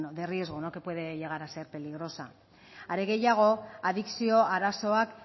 de riego que puede llegar a ser peligrosa are gehiago adikzio arazoak